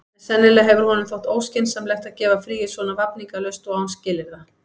En sennilega hefur honum þótt óskynsamlegt að gefa fríið svona vafningalaust og án skilyrða.